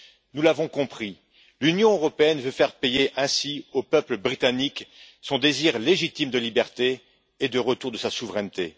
Nous l'avons compris, l'Union européenne veut faire payer ainsi au peuple britannique son désir légitime de liberté et de retour de sa souveraineté.